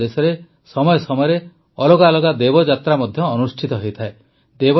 ଆମ ଦେଶରେ ସମୟ ସମୟରେ ଅଲଗା ଅଲଗା ଦେବଯାତ୍ରା ମଧ୍ୟ ଅନୁଷ୍ଠିତ ହୋଇଥାଏ